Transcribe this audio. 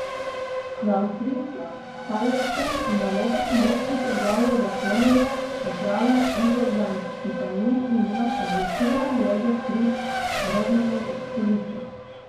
Na avstrijskem Štajerskem nalogo pomočnika glavnega trenerja opravlja Ivo Jan, ki pa ni imel odločilne vloge pri Rodmanovi selitvi.